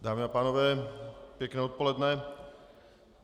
Dámy a pánové, pěkné odpoledne.